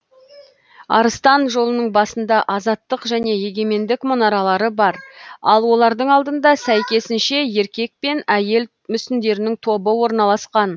арыстан жолының басында азаттық және егемендік мұнаралары бар ал олардың алдында сәйкесінше еркек пен әйел мүсіндерінің тобы орналасқан